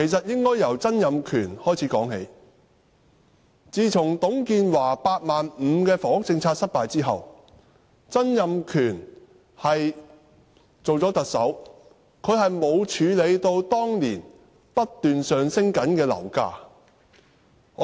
應該由曾蔭權說起，董建華的"八萬五"房屋政策失敗之後，曾蔭權擔任特首，但他沒有處理當時不斷上升的樓價。